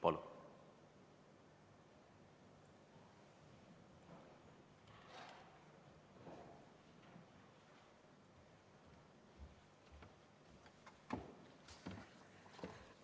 Palun!